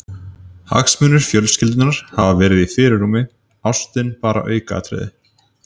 Hagsmunir fjölskyldunnar hafi verið í fyrirrúmi, ástin bara aukaatriði.